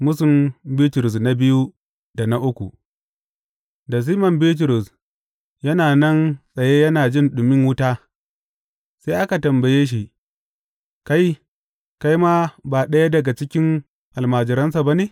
Mūsun Bitrus na biyu da na uku Da Siman Bitrus yana nan tsaye yana jin ɗumin wuta, sai aka tambaye shi, Kai, kai ma ba ɗaya daga cikin almajiransa ba ne?